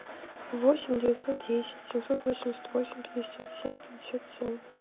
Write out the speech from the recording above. восемь девятьсот десять семьсот восемьдесят восемь пятьдесят семь пятьдесят семь